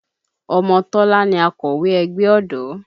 Ọmọ Tọ́lá ni akọ̀wé ẹgbẹ́ ọ̀dọ́